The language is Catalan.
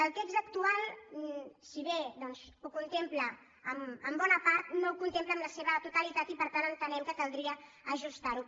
el text actual si bé ho contempla en bona part no ho contempla en la seva totalitat i per tant entenem que caldria ajustar ho